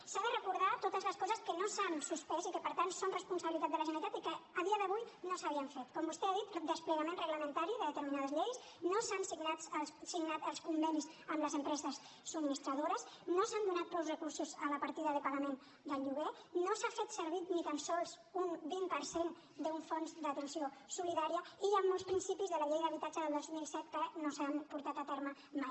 s’han de recordar totes les coses que no s’han suspès i que per tant són responsabilitat de la generalitat i que a dia d’avui no s’havien fet com vostè ha dit desplegament reglamentari de determinades lleis no s’han signat els convenis amb les empreses subministradores no s’han donat prou recursos a la partida de pagament del lloguer no s’ha fet servir ni tan sols un vint per cent d’un fons d’atenció solidària i hi han molts principis de la llei d’habitatge del dos mil set que no s’han portat a terme mai